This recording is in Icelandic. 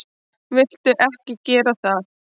Viltu ekki gera það!